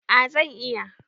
A zan iya